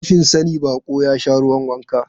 Rashin sani, baƙo ya sha ruwan wanka.